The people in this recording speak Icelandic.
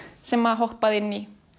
sem hoppaði inn í